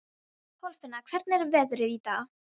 Kolfinna, hvernig er veðrið í dag?